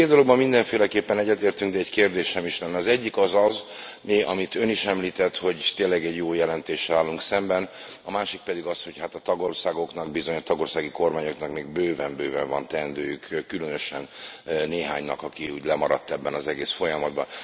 Két dologban mindenféleképpen egyetértünk, de egy kérdésem is lenne az egyik az az, amit Ön is említett, hogy tényleg egy jó jelentéssel állunk szemben, a másik pedig az, hogy hát a tagországoknak bizony, a tagországi kormányoknak még bőven bőven van teendőjük, különösen néhánynak, amely úgy lemaradt ebben az egész folyamatban.